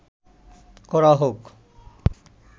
করা হোক